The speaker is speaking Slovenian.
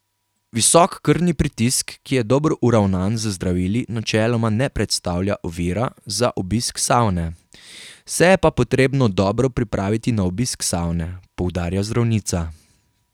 Visok krvni pritisk, ki je dobro uravnan z zdravili, načeloma ne predstavlja ovira za obisk savne, se je pa potrebno dobro pripraviti na obisk savne, poudarja zdravnica.